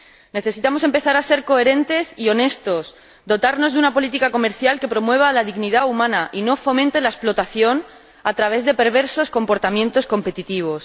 Necesitamos empezar a ser coherentes y honestos, dotarnos de una política comercial que promueva la dignidad humana y no fomente la explotación a través de perversos comportamientos competitivos.